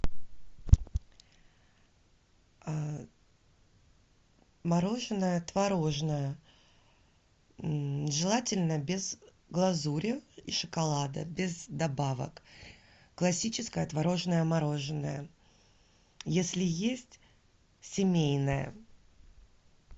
мороженое творожное желательно без глазури и шоколада без добавок классическое творожное мороженое если есть семейное